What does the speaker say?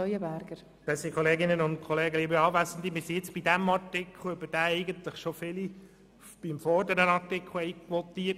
Wir sind jetzt bei dem Artikel angelangt, zu dem eigentlich schon viele beim vorherigen Artikel votiert haben.